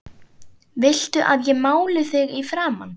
VILTU AÐ ÉG MÁLI ÞIG Í FRAMAN?